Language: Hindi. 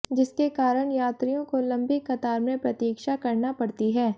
जिसके कारण यात्रियों को लंबी कतार में प्रतीक्षा करना पड़ती है